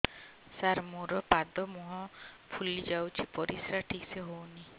ସାର ମୋରୋ ପାଦ ମୁହଁ ଫୁଲିଯାଉଛି ପରିଶ୍ରା ଠିକ ସେ ହଉନି